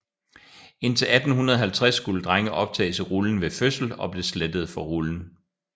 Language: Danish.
Indtil 1850 skulle drenge optages i rullen ved fødslen og blev slettede fra rullen